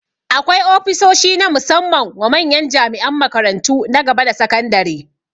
Akwai ofishoshi na musamman wa manyan jami'an makarantu na gaba da sakandare